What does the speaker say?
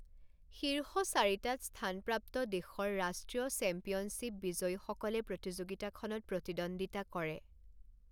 শীৰ্ষ চাৰিটাত স্থানপ্ৰাপ্ত দেশৰ ৰাষ্ট্ৰীয় চেম্পিয়নশ্বিপ বিজয়ীসকলে প্ৰতিযোগিতাখনত প্ৰতিদ্বন্দ্বিতা কৰে।